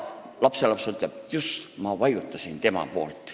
" Lapselaps vastab: "Just, ma vajutasin tema poolt.